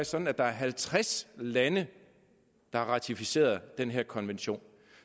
sådan at der er halvtreds lande der har ratificeret den her konvention